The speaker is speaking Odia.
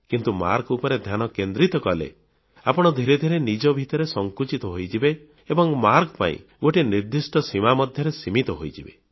କିନ୍ତୁ ମାର୍କ ଉପରେ ଧ୍ୟାନ କେନ୍ଦ୍ରିତ କଲେ ଆପଣ ଧିରେ ଧିରେ ନିଜ ଭିତରେ ସଙ୍କୁଚିତ ହୋଇଯିବେ ଏବଂ ମାର୍କ ପାଇଁ ଗୋଟିଏ ନିର୍ଦ୍ଦିଷ୍ଟ ସୀମା ମଧ୍ୟରେ ସୀମିତ ହୋଇଯିବେ